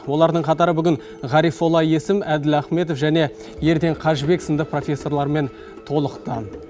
олардың қатары ғарифолла есім әділ ахметов және ерден қажыбек сынды профессорлармен толықты